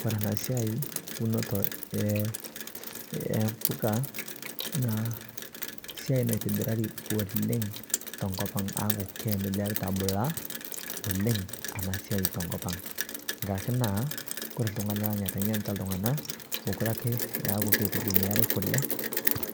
kore ana siai unotoo e mpuka naa siai naitibirarii oleng te nkopang aaku keendelearita abulaa oleng anaa siai te nkopang nkkarake naa kore tungana lang etengenitaa ltungana lang mokure ake aaku keitegemeari kulee